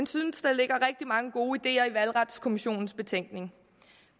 synes der ligger rigtig mange gode ideer i valgretskommissionens betænkning